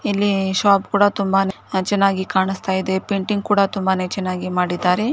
ಇಲ್ಲಿ ಶಾಪ್ ಕೂಡ ತುಂಬಾನೇ ಚೆನ್ನಾಗಿ ಕಾಣಿಸ್ತಾ ಇದೆ ಪೇಂಟಿಂಗ್ ಕೂಡ ತುಂಬಾ ನೇ ಚೆನ್ನಾಗಿ ಮಾಡಿದ್ದ್ದಾರೆ .